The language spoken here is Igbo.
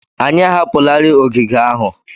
Anyị ahapụlarị ogige ahụ.